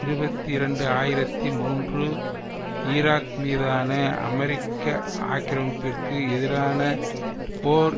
இருபத்தி இரண்டு ஆயிரத்தி மூன்று ஈராக் மீதான அமெரிக்க ஆக்கிரமிப்பிற்கு எதிரான போர்